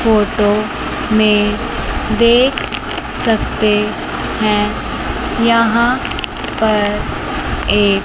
photo में देख सकते हैं यहां पर एक--